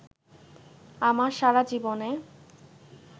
আমার সারা জীবনে